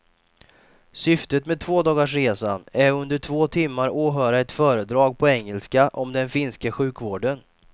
Syftet med tvådagarsresan är att under två timmar åhöra ett föredrag på engelska om den finska sjukvården.